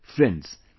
Friends,